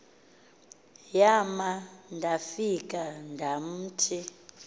yam ndafika ndamthi